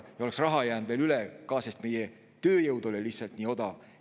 Ja raha oleks jäänud veel ülegi, sest meie tööjõud oli lihtsalt nii odav.